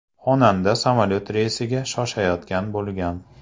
Xonanda samolyot reysiga shoshayotgan bo‘lgan.